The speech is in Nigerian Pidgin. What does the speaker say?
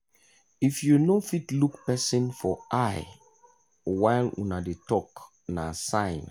if you no fit look person for eye while una dey talk na sign.